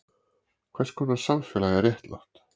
Hvers konar samfélag er réttlátt?